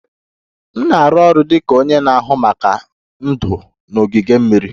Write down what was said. M na-arụ ọrụ dị ka onye na-ahụ maka ndụ n'ogige mmiri